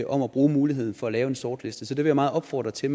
om at bruge muligheden for at lave en sortliste så det vil jeg meget opfordre til